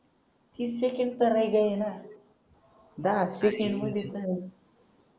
तीस सेकंड तर राहिले ना दहाच सेकंद मधेच